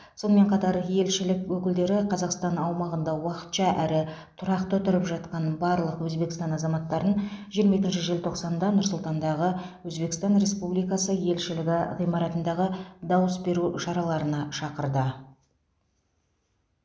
сонымен қатар елшілік өкілдері қазақстан аумағында уақытша әрі тұрақты тұрып жатқан барлық өзбекстан азаматтарын жиырма екінші желтоқсанда нұр сұлтандағы өзбекстан республикасы елшілігі ғимаратындағы дауыс беру шараларына шақырды